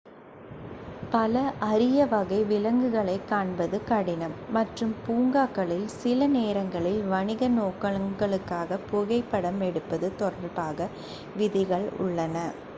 பல அரிய வகை விலங்குகளைக் காண்பது கடினம் மற்றும் பூங்காக்களில் சில நேரங்களில் வணிக நோக்கங்களுக்காக புகைப்படம் எடுப்பது தொடர்பாக விதிகள் உள்ளன